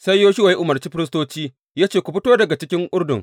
Sai Yoshuwa ya umarci firistoci ya ce, Ku fito daga cikin Urdun.